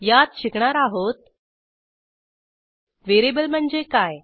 यात शिकणार आहोत व्हेरिएबल म्हणजे काय